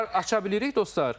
Səsi aça bilirik, dostlar?